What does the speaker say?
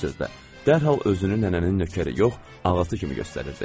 Bir sözlə, dərhal özünü nənənin nökəri yox, ağası kimi göstərirdi.